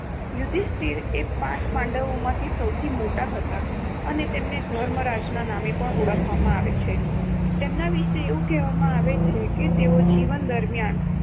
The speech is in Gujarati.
યુધિષ્ઠિર એ પાંચ પાંડવોમાં સૌથી મોટા હતા અને તેમને ધર્મરાજના નામે પણ ઓળખવામાંઆવે છે. એમના વિષે એવું કહેવામાંઆવે છે કે તેઓ જીવન દરમિયાન